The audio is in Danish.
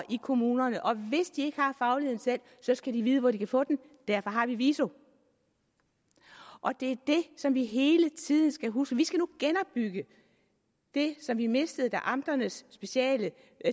i kommunerne og hvis de ikke har fagligheden selv skal de vide hvor de kan få den og derfor har vi viso og det er det som vi hele tiden skal huske vi skal nu igen genopbygge det som vi mistede da amternes specielle